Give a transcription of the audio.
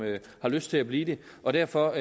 har lyst til at blive det og derfor